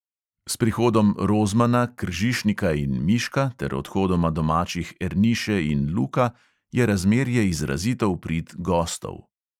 S prihodom rozmana, kržišnika in miška ter odhodoma domačih erniše in luka je razmerje izrazito v prid "gostov".